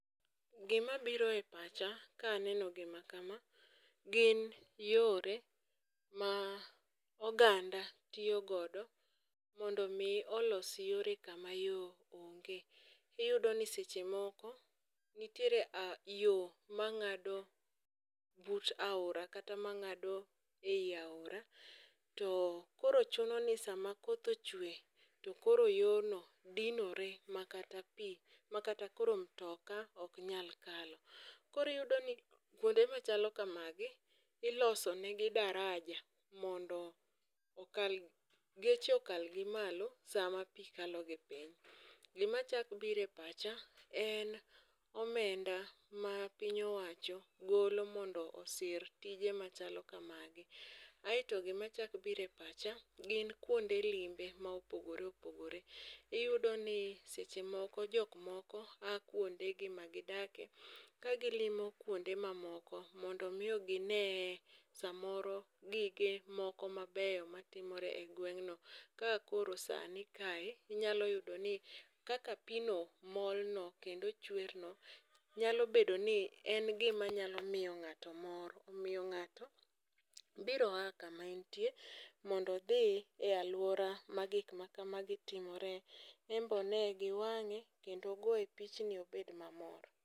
Gima biro pacha ka aneno gima kama, gin yore ma oganda tiyo godo mondo mi olos yore kama yoo onge. Iyudoni seche moko nitiere yoo mang'ado but aora kata mang'ado eyi aora too koro chunoni sama koth ochue tokoro yono dinore makata pii makata koro mtoka oknyal kalo. Koro iyudoni kuonde machalo kamagi ilosonegi daraja mondo okal geche okalgi malo sama pii kalo gi piny. Gima chak biro epacha, en omenda mapiny owacho golo mondo osir tije machalo kamagi. Aeto gima chak biro epacha, gin kuonde limbe ma opogore opogore iyudoni seche moko jok moko aa kuondegi magi dake ka gilimo kuonde mamoko mondo miyo gineye samoro gige moko mabeyo matimore egweng'no. Ka koro sani kae inyalo yudoni kaka piino molno kendo chwerno nyalo bedoni en gima nyalo miyo ng'ato mor. Omiyo ng'ato biro aa kama entie mondo odhi e aluora magik makamagi timore en be one giwang'e kendo ogoye pichni obed mamor.